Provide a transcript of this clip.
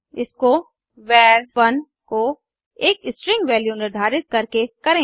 इसको वर 1 को एक स्ट्रिंग वैल्यू निर्धारित करके करें